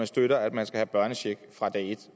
støtter at man skal have børnecheck fra dag et